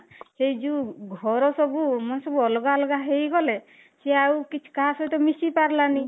ଏଇ ଯୋଉ ଘର ସବୁ ସବୁ ଅଲଗା ଅଲଗା ହେଇଗଲେ ସେଇ ଆଉ କିଛି କାହା ସହିତ ମିସିପାରିଲାନି